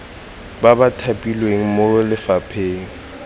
ba ba thapilweng mo lefapheng